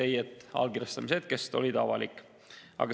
Ei, allkirjastamise hetkest oli see avalik.